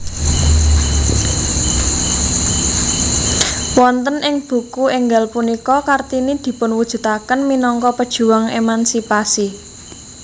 Wonten ing buku énggal punika Kartini dipunwujudaken minangka pejuang emansipasi